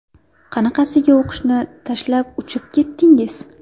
Qanaqasiga o‘qishni tashlab uchib ketdingiz?